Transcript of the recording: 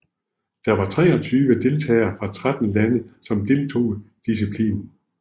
Der var treogtyve deltagere fra tretten lande som deltog i disciplinen